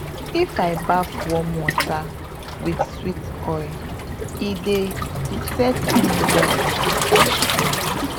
if i baff warm water with sweet oil e dey reset me well after stress